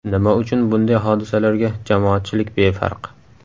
Nima uchun bunday hodisalarga jamoatchilik befarq?